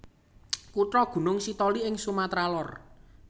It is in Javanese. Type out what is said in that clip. Kutha Gunung Sitoli ing Sumatra Lor